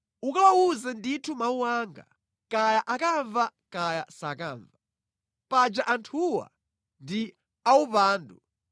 Ukawawuze ndithu mawu anga, kaya akamva kaya sakamva. Paja anthuwa ndi awupandu.